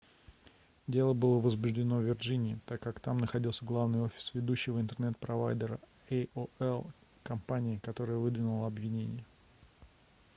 дело было возбуждено в вирджинии так как там находится главный офис ведущего интернет-провайдера aol компании которая выдвинула обвинения